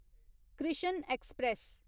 Krishna express